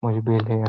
mu zvibhehleya.